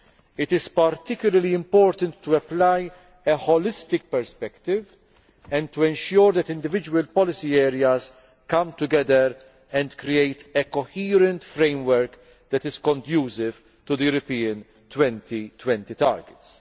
It is particularly important to apply a holistic perspective and to ensure that individual policy areas come together and create a coherent framework that is conducive to the Europe 2020 targets.